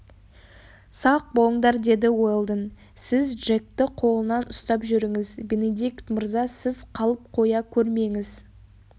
сақ болыңдар деді уэлдон сіз джекті қолынан ұстап жүріңіз бенедикт мырза сіз қалып қоя көрмеңіз